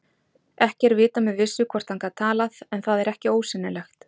Ekki er vitað með vissu hvort hann gat talað en það er ekki ósennilegt.